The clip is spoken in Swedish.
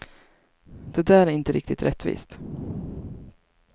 Det där är inte riktigt rättvist.